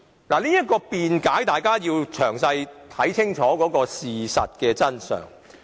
關於這種辯解，大家必須詳細看清楚事實真相。